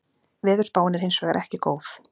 Veðurspáin er hins vegar ekki góð